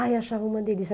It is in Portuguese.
Ai, eu achava uma delícia.